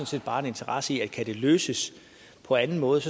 set bare interesse i at kan det løses på anden måde